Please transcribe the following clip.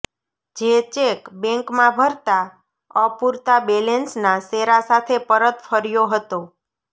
જે ચેક બેંકમાં ભરતા અપુરતા બેલેંસના શેરા સાથે પરત ફર્યો હતો